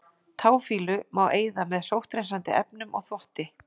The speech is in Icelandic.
Táfýlu má eyða með sótthreinsandi efnum og þvotti.